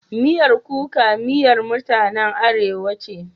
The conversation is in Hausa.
Miyar kuka miyar mutanen Arewa ce.